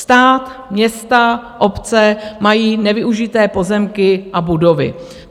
Stát, města, obce mají nevyužité pozemky a budovy.